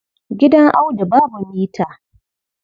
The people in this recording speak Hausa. Gidan Audu babu mita.